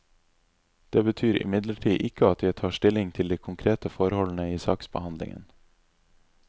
Det betyr imidlertid ikke at jeg tar stilling til de konkrete forholdene i saksbehandlingen.